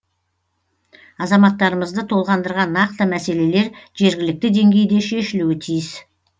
азаматтарымызды толғандырған нақты мәселелер жергілікті деңгейде шешілуі тиіс